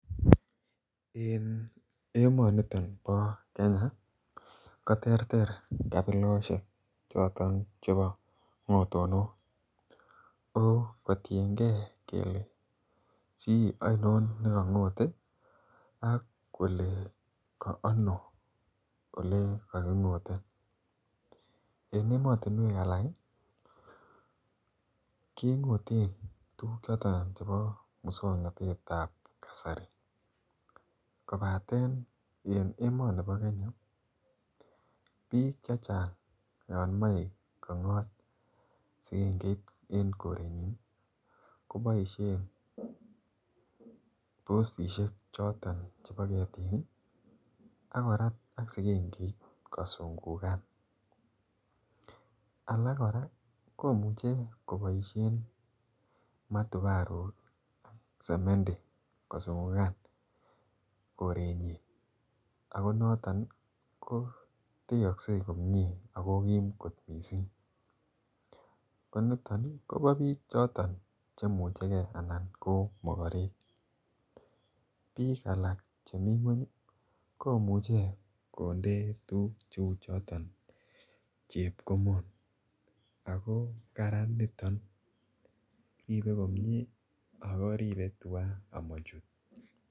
En emoniton bo Kenya ko terter kabiloshek choton chebo kotonok kotiengee kelee chi oinon ne kongote ak kole ko ano ole kokingote. En emotinwek alak ii kengoten tuguk choton chebo muswognotetab kasari kobaten en emonibo Kenya biik chechang yon moi kongot sikengeit en korenyin ii ko boishen postishek choton chebo ketik ii ak korat ak sigengeit kosungugan. Alak koraa komuche ko boishen matubaruk ak semendi ko sungugan korenyin ako noton ko techokse komie ako kiim kot missing. Ko niton ii Kobo biik choton che muche gee anan ko mogorek. Biik alak chemii ngweny komuche konde tuguk che uu choton chepkomon ako Kararan niton. Ribe komie ako ribe tuga amochut